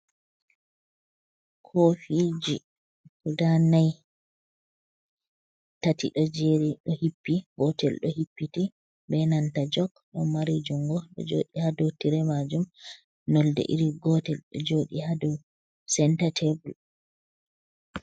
Kofiji guda nai tati, ɗo jeri hippi gotel ɗo hippiti ɓe nanta jok do mari jungo ɗo joɗi hado tire majum, nonde iri gotel ɗo joɗi hado centa tebel.